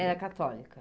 Era católica.